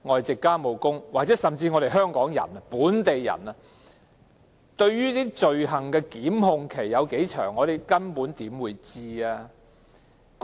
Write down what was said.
即使香港人、本地人大多數不知道罪行控檢期有多長，更何況外傭？